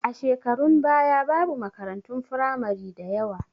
A shekarun baya babu makaratun firamari da yawa